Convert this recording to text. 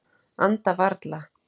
Anda varla.